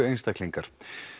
einstaklingar